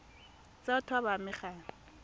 tsa batho ba ba amegang